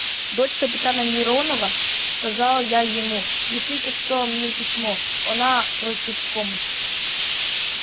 дочь капитана миронова сказал я ему пишите кто мне письмо она просит помощи